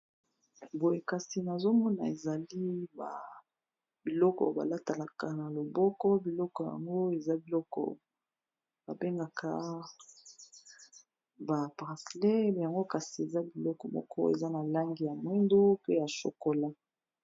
Boye kasi nazomona ezali biloko balatalaka na loboko, biloko yango eza biloko babengaka bapracele yango kasi eza biloko moko eza na langi ya mwindu, pe ya shokola.